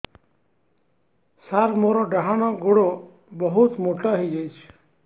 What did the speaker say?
ସାର ମୋର ଡାହାଣ ଗୋଡୋ ବହୁତ ମୋଟା ହେଇଯାଇଛି